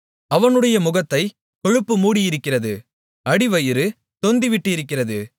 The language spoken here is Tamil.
அவனுடைய முகத்தைக் கொழுப்பு மூடியிருக்கிறது அடிவயிறு தொந்திவிட்டிருக்கிறது